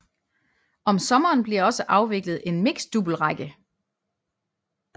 Om sommeren bliver også afviklet en mixeddoublerække